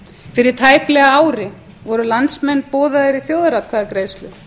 fyrir tæplega ári voru landsmenn boðaðir í þjóðaratkvæðagreiðslu